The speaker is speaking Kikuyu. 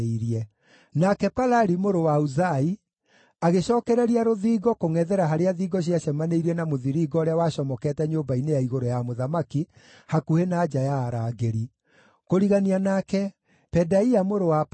nake Palali mũrũ wa Uzai agĩcookereria rũthingo kũngʼethera harĩa thingo ciacemanĩirie na mũthiringo ũrĩa wacomokete nyũmba-inĩ ya igũrũ ya mũthamaki hakuhĩ na nja ya arangĩri. Kũrigania nake, Pedaia mũrũ wa Paroshu